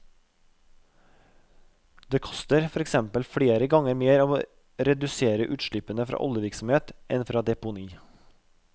Det koster for eksempel flere ganger mer å redusere utslippene fra oljevirksomhet, enn fra deponi.